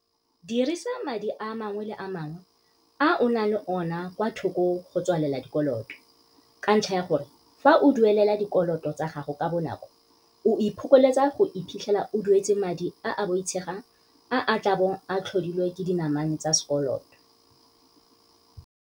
Dirisa madi a mangwe le a mangwe a o nang le ona kwa thoko go tswalela dikoloto, ka ntlha ya gore fa o duelela dikoloto tsa gago ka bonako o iphokoletsa go iphitlhela o duetse madi a a boitshegang a a tla bong a tlhodilwe ke dinamane tsa sekoloto.